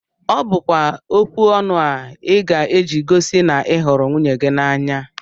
Ọ bụkwa okwu ọnụ a ị ga- eji gosi na ị hụrụ nwunye gị n'anya